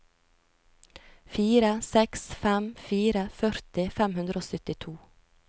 fire seks fem fire førti fem hundre og syttito